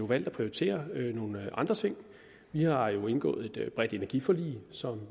valgt at prioritere nogle andre ting vi har jo indgået et bredt energiforlig som